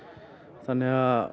þannig að